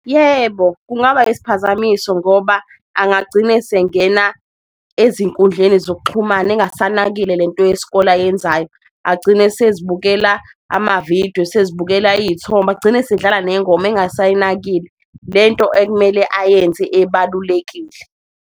Yebo, kungaba isiphazamiso ngoba angagcine esengena ezinkundleni zokuxhumana engasanakile lento yesikole ayenzayo, agcine esezibukela amavidiyo, esezibukela iyithombe. Agcine esedlala nengoma engasayinakile lento ekumele ayenze ebalulekile.